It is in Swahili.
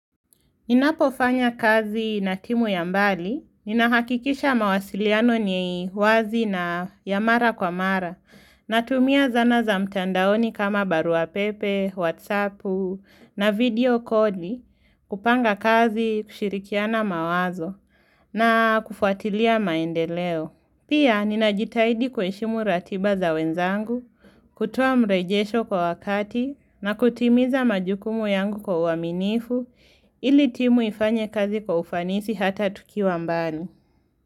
Ninapofanya kazi na timu yambali, ninahakikisha mawasiliano ni wazi na ya mara kwa mara, na tumia zana za mtandaoni kama baruapepe, whatsappu, na video koli, kupanga kazi kushirikiana mawazo, na kufuatilia maendeleo. Pia ninajitahidi kuheshimu ratiba za wenzangu, kutoa mrejesho kwa wakati na kutimiza majukumu yangu kwa uaminifu ili timu ifanye kazi kwa ufanisi hata tukiwa mbali.